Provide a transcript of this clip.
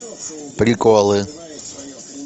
приколы